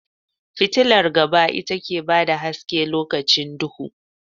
Fitular gaba ita ke bada haske lokacin duhu